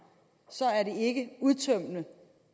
ikke er udtømmende